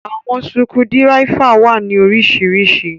Àwọn sukudiráifa wa ni orísiríṣí.